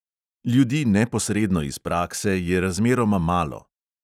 Ljudi neposredno iz prakse je razmeroma malo.